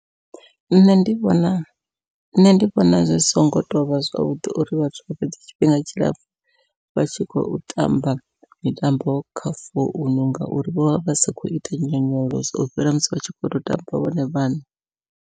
Nṋe ndi vhona nṋe ndi vhona, zwi songo tovha zwavhuḓi uri vhathu vha fhedza tshifhinga tshilapfhu vha tshi khou tamba mitambo kha founu, ngauri vho vha vha sa khou ita nyonyoloso u fhira musi vhatshi khoto tamba vhone vhaṋe.